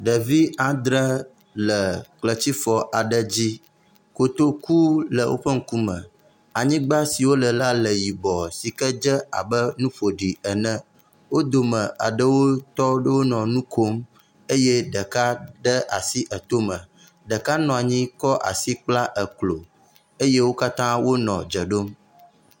Ɖevi adre le kletsifɔ aɖe dzi. Kotoku le woƒe ŋkume. Anyigba si wole la le yibɔ si ke dze abe nu ƒoɖi ene. Wo dome aɖewo tɔ ɖo nɔ nu kom eye ɖeka de asi etome. Ɖeka nɔ anyi kɔ asi kpla eklo eye wo katã wonɔ dze ɖom.